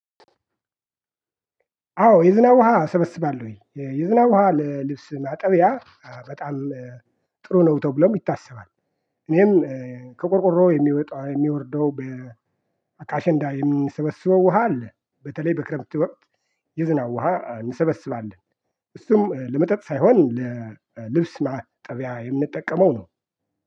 አዎ የዝናብ ውሃ አሰበስባለሁኝ የዝናብ ውሃ ለልብስ ማጠቢያ በጣም ጥሩ ነው ተብሎ ይታሰባል። እኔም ከቆርቆሮ የሚወጣው የሚወርደው በአካሸንዳ የሚሰበስበው ውሃ አለ። በተለይ በክረብት ወቅት የዝናው ውሃ እንሰበስባለን እሱም ለመጠጥ ሳይሆን ለልብስ ማጠቢያ የምንጠቀመው ነው